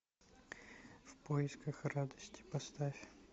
в поисках радости поставь